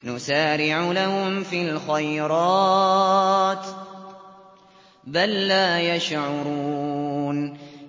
نُسَارِعُ لَهُمْ فِي الْخَيْرَاتِ ۚ بَل لَّا يَشْعُرُونَ